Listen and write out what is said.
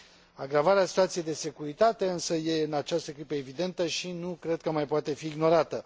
Agravarea situației de securitate este, însă, în această clipă evidentă și nu cred că mai poate fi ignorată.